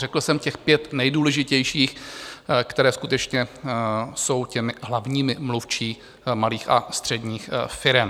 Řekl jsem těch pět nejdůležitějších, které skutečně jsou těmi hlavními mluvčími malých a středních firem.